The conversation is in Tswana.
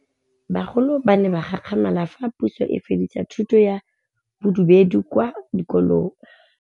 Bagolo ba ne ba gakgamala fa Pusô e fedisa thutô ya Bodumedi kwa dikolong.